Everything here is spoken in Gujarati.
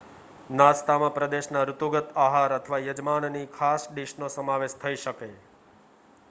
નાસ્તામાં પ્રદેશના ઋતુગત આહાર અથવા યજમાનની ખાસ ડિશનો સમાવેશ થઈ શકે